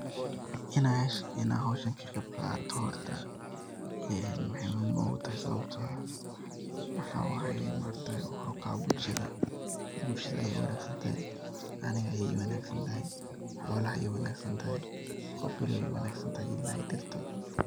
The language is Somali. Ina aash Ina hooshan ka qeeb Qathatoh horta Ina maxawaye sawabta maxawaye horta wa ujeedah kushaa wanagsantahay Anika ii wanagsantahay, xolaha u wanagsantahay, Qoof walabo u wanagsantahay ila iyo diirtaa